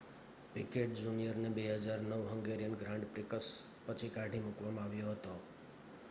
picked જુનિયરને 2009 Hungarian grand prix પછી કાઢી મૂકવામાં આવ્યો હતો